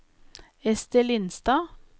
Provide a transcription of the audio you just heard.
Esther Lindstad